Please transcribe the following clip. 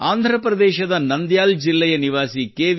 ಆಂಧ್ರಪ್ರದೇಶದ ನಂದ್ಯಾಲ್ ಜಿಲ್ಲೆಯ ನಿವಾಸಿ ಕೆ